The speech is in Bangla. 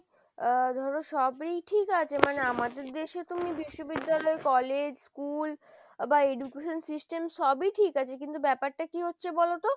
আহ ধরো সবই ঠিক আছে মানে আমাদের দেশে তুমি বিশ্ববিদ্যালয় College, school বা education system সবই ঠিক আছে কিন্তু ব্যাপারটা কি হচ্ছে বলতো?